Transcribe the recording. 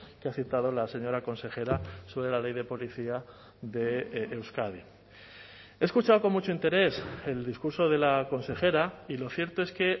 que ha citado la señora consejera sobre la ley de policía de euskadi he escuchado con mucho interés el discurso de la consejera y lo cierto es que